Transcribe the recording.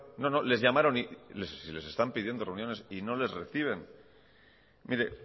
no no les llamaron y si les están pidiendo reuniones y no les reciben mire